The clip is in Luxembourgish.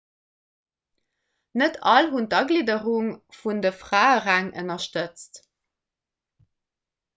net all hunn d'agglidderung vun de fraeräng ënnerstëtzt